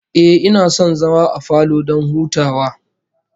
Ehh, ina son zama a falo don hutawa